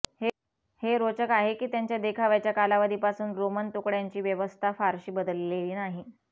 हे रोचक आहे की त्यांच्या देखाव्याच्या कालावधीपासून रोमन तुकड्यांची व्यवस्था फारशी बदललेली नाही